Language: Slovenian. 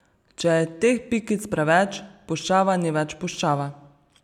Če je teh pikic preveč, puščava ni več puščava.